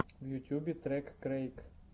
в ютьюбе трек крэйк